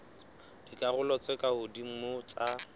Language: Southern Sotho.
dikarolong tse ka hodimo tsa